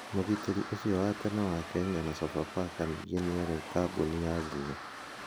Mũgitĩrĩ ũcio wa tene wa Kenya na Sofapaka ningĩ nĩarĩ kambuni ya nguo.